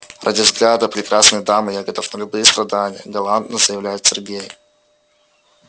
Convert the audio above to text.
ради взгляда прекрасной дамы я готов на любые страдания галантно заявляет сергей